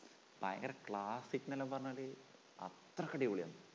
ഭയങ്കര classic എന്നെല്ലാം പറഞ്ഞാല് അത്രയ്ക്ക് അടിപൊളിയാണ്